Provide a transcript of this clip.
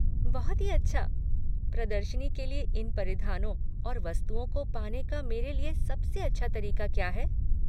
बहुत ही अच्छा। प्रदर्शनी के लिए इन परिधानों और वस्तुओं को पाने का मेरे लिए सबसे अच्छा तरीका क्या है?